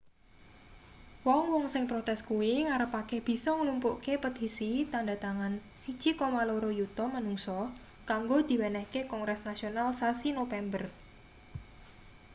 wong-wong sing protes kuwi ngarepake bisa nglumpukke petisi tandha tangan 1,2 yuta manungsa kanggo diwenehke kongres nasional sasi nopember